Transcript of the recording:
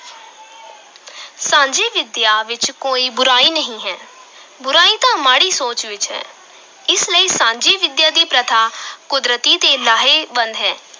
ਸਾਂਝੀ ਵਿਦਿਆ ਵਿੱਚ ਕੋਈ ਬੁਰਾਈ ਨਹੀਂ ਹੈ, ਬੁਰਾਈ ਤਾਂ ਮਾੜੀ ਸੋਚ ਵਿੱਚ ਹੈ, ਇਸ ਲਈ ਸਾਂਝੀ ਵਿੱਦਿਆ ਦੀ ਪ੍ਰਥਾ ਕੁਦਰਤੀ ਤੇ ਲਾਹੇਵੰਦ ਹੈ।